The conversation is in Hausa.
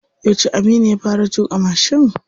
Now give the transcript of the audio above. Yauce Aminu ya fara tuƙa mashin?